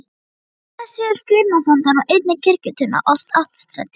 Þess vegna séu skírnarfontar og einnig kirkjuturnar oft áttstrendir.